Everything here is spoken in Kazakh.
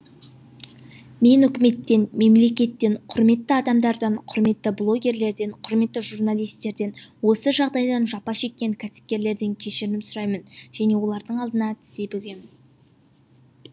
мен үкіметтен мемлекеттен құрметті адамдардан құрметті блогерлерден құрметті журналистерден осы жағдайдан жапа шеккен кәсіпкерлерден кешірім сұраймын және олардың алдында тізе бүгемін